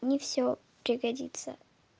не всё пригодится